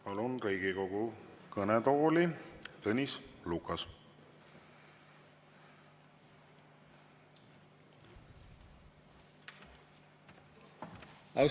Palun Riigikogu kõnetooli, Tõnis Lukas!